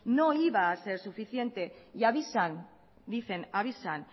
no iba a ser suficiente y avisan dicen avisan